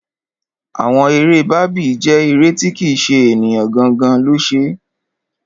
Àwọn eré Barbie jẹ́ eré tí kì ṣe ènìyàn gangan lo ṣe.